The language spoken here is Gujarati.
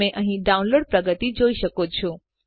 તમે અહીં ડાઉનલોડ પ્રગતિ જોઈ શકો છો